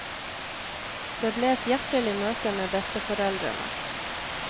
Det ble et hjertelig møte med besteforeldrene.